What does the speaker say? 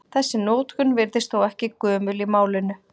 Þessi notkun virðist þó ekki gömul í málinu.